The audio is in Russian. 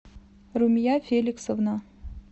румия феликсовна